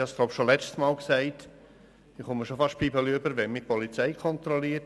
Ich habe schon das letzte Mal gesagt, dass ich beinahe Pickel kriege, wenn mich die Polizei kontrolliert.